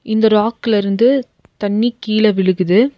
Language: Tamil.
இந்த ராக்ல இருந்து தண்ணி கீழ விழுகுது.